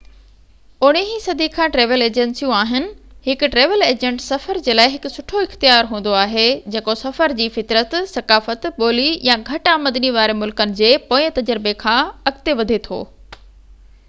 19 صدي کان ٽريول ايجنسيون آهن هڪ ٽريول ايجنٽ سفر جي لاءِ هڪ سٺو اختيار هوندو آهي جيڪو سفر جي فطرت ثقافت ٻولي يا گهٽ آمدني واري ملڪن جي پوئين تجربي کان اڳتي وڌي ٿو